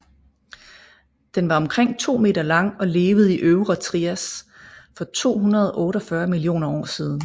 Den var omkring 2 meter lang og levede i øvre Trias for 248 millioner år siden